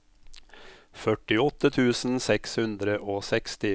førtiåtte tusen seks hundre og seksti